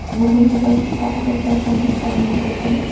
Bugungi birinchi tarixiy uchrashuvimiz doimiy bo‘lsin.